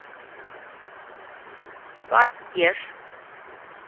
фатеж